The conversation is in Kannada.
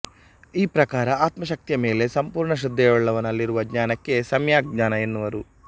ಈ ಪ್ರಕಾರ ಆತ್ಮಶಕ್ತಿಯ ಮೇಲೆ ಸಂಪೂರ್ಣ ಶ್ರದ್ಧೆಯುಳ್ಳವನಲ್ಲಿರುವ ಜ್ಞಾನಕ್ಕೆ ಸಮ್ಯಗ್ ಜ್ಞಾನ ಎನ್ನುವರು